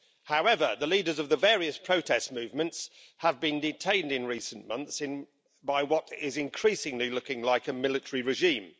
However, the leaders of the various protest movements have been detained in recent months by what is increasingly looking like a military regime.